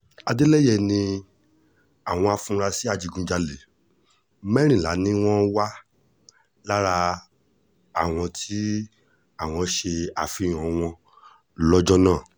adeleye ní àwọn afurasí ajínigbé mẹ́rìnlá ni wọ́n wà lára àwọn tí àwọn ṣe àfihàn wọn lọ́jọ́ náà